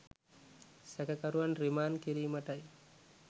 සැකකරුවන් රිමාන්ඩ් කිරීමටයි.